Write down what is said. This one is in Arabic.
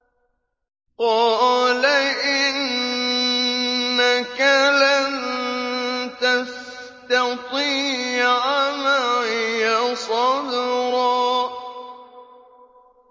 قَالَ إِنَّكَ لَن تَسْتَطِيعَ مَعِيَ صَبْرًا